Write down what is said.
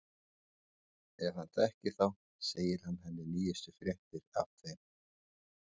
Ef hann þekkir þá segir hann henni nýjustu fréttir af þeim.